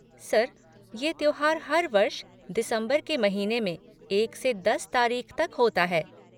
Sir, ये त्योहार हर वर्ष, दिसंबर के महीने में एक से दस तारीख़ तक होता है।